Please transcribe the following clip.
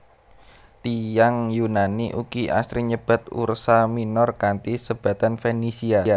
Tiyang Yunani ugi asrin nyebat Ursa Minor kanthi sebatan Fenisia